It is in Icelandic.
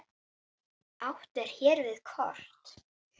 Hvort myndir þú frekar nota?